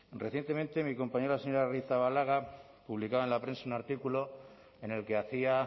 recientemente mi compañera la señora arrizabalaga publicaba en la prensa un artículo en el que hacía